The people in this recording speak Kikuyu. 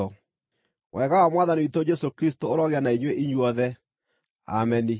Wega wa Mwathani witũ Jesũ Kristũ ũrogĩa na inyuĩ inyuothe. Ameni.)